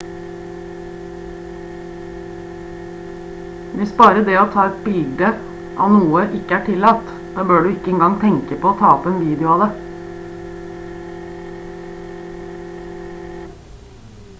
hvis bare det å ta et bilde av noe ikke er tillatt da bør du ikke engang tenke på å ta opp en video av det